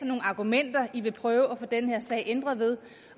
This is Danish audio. nogle argumenter i vil prøve at få den her sag ændret med